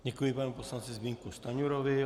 Děkuji panu poslanci Zbyňku Stanjurovi.